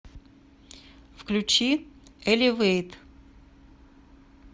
включи элевэйт